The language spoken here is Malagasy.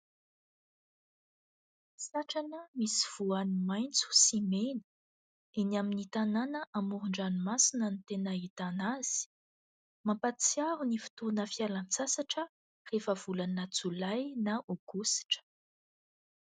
Satrana misy voany maitso sy mena. Eny amin'ny tanàna amoron-dranomasina no tena ahitana azy. Mampahatsiaro ny fotoana fialan-tsasatra rehefa volana jolay na aogositra.